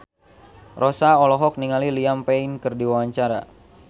Rossa olohok ningali Liam Payne keur diwawancara